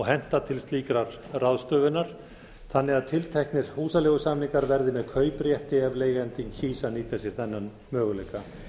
henta til slíkrar ráðstöfunar þannig að tilteknir húsaleigusamningar verði með kauprétti ef leigjandinn kýs að nýta sér þennan möguleika